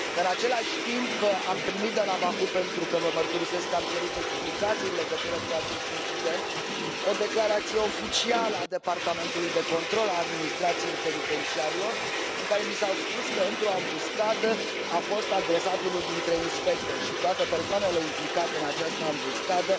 În același timp, am primit de la Baku pentru că vă mărturisesc că am cerut explicații în legătură cu acest incident o declarație oficială a Departamentului de Control al Administrației Penitenciarelor, în care mi s a spus că, într o ambuscadă, a fost agresat unul dintre inspectori și toate persoanele implicate în această ambuscadă